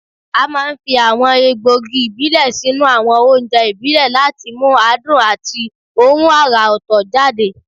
A máa ń fi àwọn egbògi ìbílẹ̀ sínú àwọn oúnjẹ ìbílẹ̀ láti mú adùn àti òórùn àrà ọ̀tọ̀ jáde